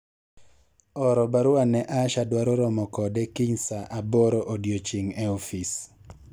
oro barua ne Asha adwaro romo kode kiny saa aboro odiochieng' e ofis